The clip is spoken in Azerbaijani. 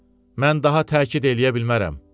Mən daha təkid eləyə bilmərəm.